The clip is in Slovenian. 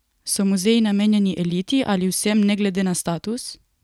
So muzeji namenjeni eliti ali vsem, ne glede na status?